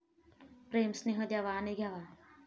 प्रेम, स्नेह द्यावा आणि घ्यावा.